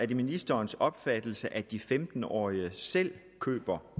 det ministerens opfattelse at de femten årige selv køber